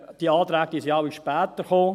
Diese Anträge sind alle später gekommen;